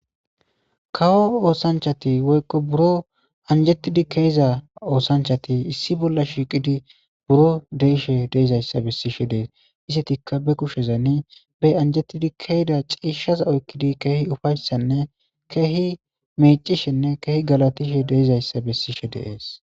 kawo oosanchati woykko buro anjettidi keeza oosanchati issi bolla shiiqidi buro deishe deizayssa bessishe dees isetikka be kushezani be anjettidi keeda ciishshaza oykkidi keehi ufayssanne keehi mecishenne keehi galatishe deizayssa bessishe deees